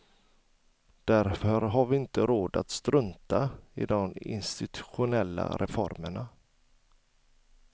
Därför har vi inte råd att strunta i de institutionella reformerna.